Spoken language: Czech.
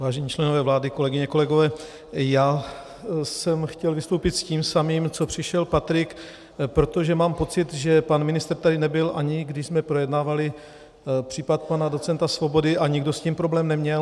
Vážení členové vlády, kolegyně, kolegové, já jsem chtěl vystoupit s tím samým, co přišel Patrik, protože mám pocit, že pan ministr tady nebyl, ani když jsme projednávali případ pana docenta Svobody, a nikdo s tím problém neměl.